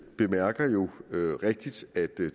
bemærker jo rigtigt at det